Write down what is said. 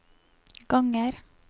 ganger